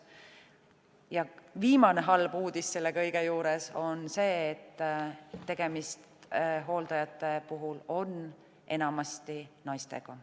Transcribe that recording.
Ja viimane halb uudis selle kõige juures on see, et hooldajate puhul on enamasti tegemist naistega.